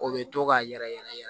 O bɛ to ka yɛrɛ yɛrɛ yɛrɛ